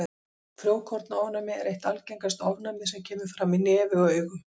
Frjókornaofnæmi er eitt algengasta ofnæmið sem kemur fram í nefi og augum.